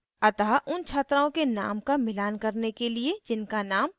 अतः उन छात्राओं के name का मिलान करने के लिए जिनका name mira है